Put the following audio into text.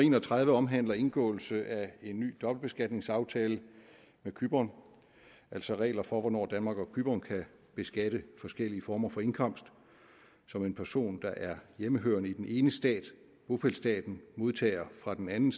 en og tredive omhandler indgåelse af en ny dobbeltbeskatningsaftale med cypern altså regler for hvornår danmark og cypern kan beskatte forskellige former for indkomst som en person der er hjemmehørende i den ene stat bopælsstaten modtager fra den anden